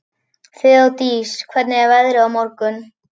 Þeódís, hvernig er veðrið á morgun?